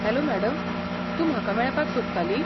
Hello madam, तूं म्हाका मेळपाक सोदताली?